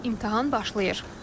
Nəhayət imtahan başlayır.